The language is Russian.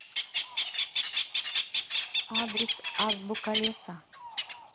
адрес азбука леса